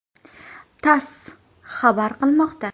“TASS” xabar qilmoqda .